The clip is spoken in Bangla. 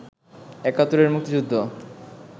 ৭১ এর মুক্তিযুদ্ধ